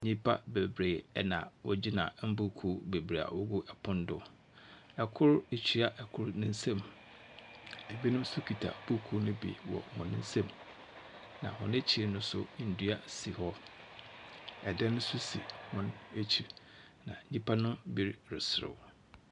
Nyimpa beberee na wɔgyina mbuukuu beberee a ogu pon do. Kor akyia kor ne nsamu. Binom nso kita buukuu ni bi wɔ hɔn nsam. Na hɔn ekyir no nso, ndua si hɔ. Dan nso si hɔn ekyir, na nyimpa no bi reserew.